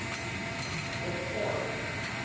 Birkeland